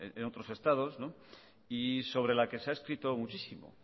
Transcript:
en otro estados y sobre la que se ha escrito muchísimo